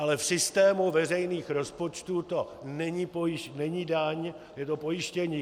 Ale v systému veřejných rozpočtů to není daň, je to pojištění.